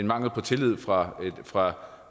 mangel på tillid fra fra